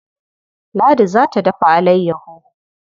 Ladi za ta dafa alayyaho.